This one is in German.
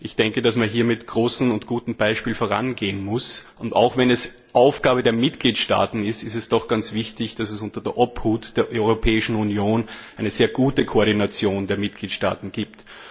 Ich denke, dass man hier mit gutem Beispiel vorangehen muss, und auch wenn es Aufgabe der Mitgliedstaaten ist, ist es doch ganz wichtig, dass es unter der Obhut der Europäischen Union eine sehr gute Koordination der Mitgliedstaaten gibt.